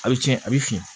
A bɛ tiɲɛ a bɛ fin